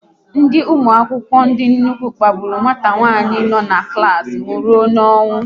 Ndị ụmụ akwụkwọ ndị nnukwu kpagburu nwata nwanyị no n'klas m rụọ n'ọnwụ